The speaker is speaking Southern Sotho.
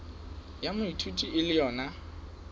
ya moithuti e le yona